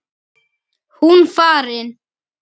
Hún farin.